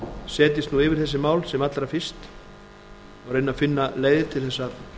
setjist nú yfir þessi mál sem allra fyrst og reyni að finna leiðir til þess að